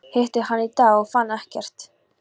Hitti hann í dag og fann ekkert.